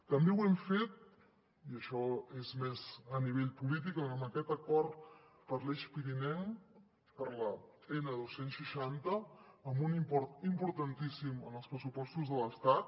també ho hem fet i això és més a nivell polític amb aquest acord per l’eix pirinenc per l’n dos cents i seixanta amb un import importantíssim en els pressupostos de l’estat